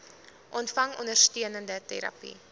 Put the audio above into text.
ontvang ondersteunende terapie